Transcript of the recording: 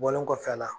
Bɔlen kɔfɛ a la